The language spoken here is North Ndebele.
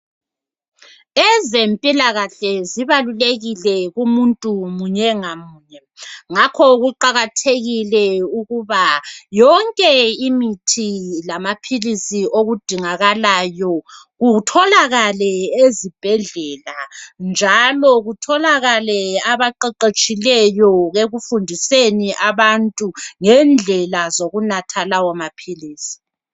Ezempilakahle zibalulekile kumuntu munye ngamunye, ngakho kuqakathekile ukuba yonke imithi lamaphilisi okudingakalayo kutholakale ezibhedlela, njalo kutholakale abaqeqetshileyo ekufundiseni abantu ngendlela zokunatha lawo maphilisi.